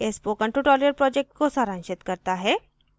यह spoken tutorial project को सारांशित करता है